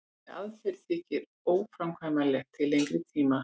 þessi aðferð þykir óframkvæmanleg til lengri tíma